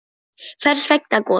Hvers vegna Gosi?